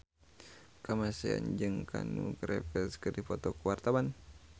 Kamasean jeung Keanu Reeves keur dipoto ku wartawan